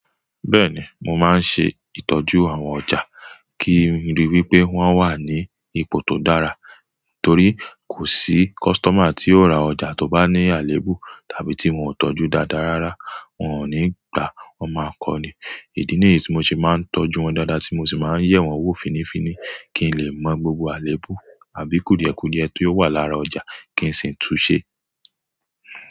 Bẹ́ẹ̀ni, mo máa ń ṣe ìtọ́jú àwọn ọjà kí n ríi wí pé wọ́n wà ní ipò tó dára. Nítorí kò sí costumer tí yóò ra ọjà tó bá ní àléébù tàbí tí wọn ò tọ́jú dáadáa rárá. Wọn ò ní gbà, wọn máa ń kọ ní. Ìdí nìyí tí mo ṣe máa ń tọ́jú wọn dáadáa sí mo sì máa ń yẹ̀ wọ́n wò fínifíni kí n lè mọ gbogbo àléébù àbí kùdìẹ̀kùdìẹ̀ tó wà lára ọjà kí n sì túnsẹ́.